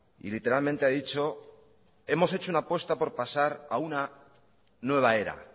y literalmente ha dicho hemos hecho una apuesta por pasar a una nueva era